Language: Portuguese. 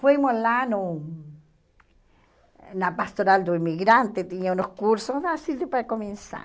Fomos lá no na pastoral do imigrante, tinha uns cursos assim para começar.